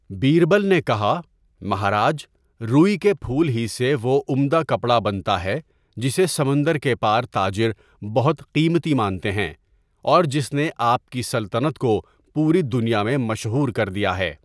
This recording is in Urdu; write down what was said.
بیربل نے کہا، 'مہاراج، روئی کے پھول ہی سے وہ عمدہ کپڑا بنتا ہے جسے سمندر کے پار تاجر بہت قیمتی مانتے ہیں، اور جس نے آپ کی سلطنت کو پوری دنیا میں مشہور کر دیا ہے۔